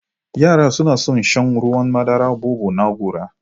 Yara suna son shan Ruwan madaran Bobo na gora.